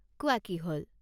কোৱা কি হ'ল?